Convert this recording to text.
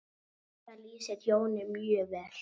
Þetta lýsir Jóni mjög vel.